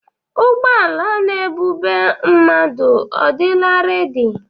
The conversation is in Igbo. Ụgbọala n'ebube mmadụ ọ dịla rẹ́di?